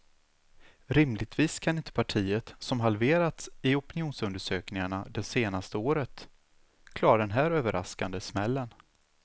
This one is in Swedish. Rimligtvis kan inte partiet, som halverats i opinionsundersökningarna de senaste året, klara den här överraskande smällen.